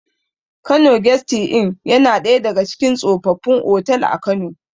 Kano gesti in yana ɗaya daga cikin tsofaffin otal a kano